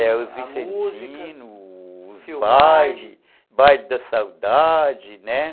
É, os vicentinos, a música, os bailes, baile da saudade, né?